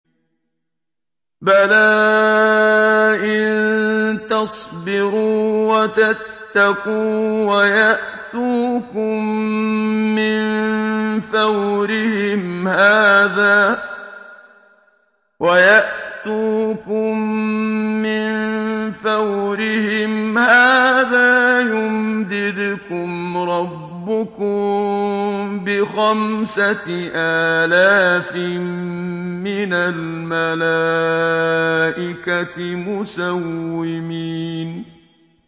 بَلَىٰ ۚ إِن تَصْبِرُوا وَتَتَّقُوا وَيَأْتُوكُم مِّن فَوْرِهِمْ هَٰذَا يُمْدِدْكُمْ رَبُّكُم بِخَمْسَةِ آلَافٍ مِّنَ الْمَلَائِكَةِ مُسَوِّمِينَ